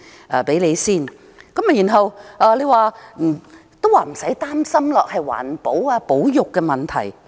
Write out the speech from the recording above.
現在叫市民不用擔心，說這是環保和保育問題。